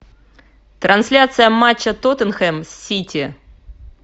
трансляция матча тоттенхэм с сити